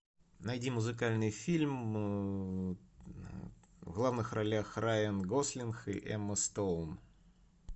найди музыкальный фильм в главных ролях райан гослинг и эмма стоун